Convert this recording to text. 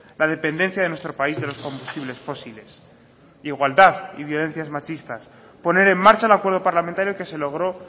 la dependencia de nuestro país de los combustibles fósiles igualdad y violencias machistas poner en marcha un acuerdo parlamentario que se logró